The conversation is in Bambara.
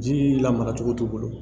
Ji lamara cogo t'u bolo